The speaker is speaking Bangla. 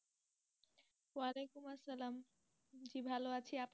ভালো আছি, আপনি?